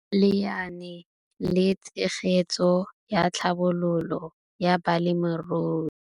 Lenaane la Tshegetso le Tlhabololo ya Balemirui